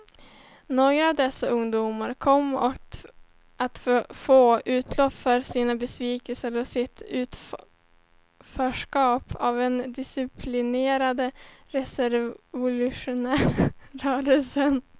Några av dessa ungdomar kom att få utlopp för sin besvikelse och sitt utanförskap i en hårt disciplinerad rasrevolutionär rörelse.